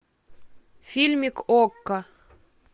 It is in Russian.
фильмик окко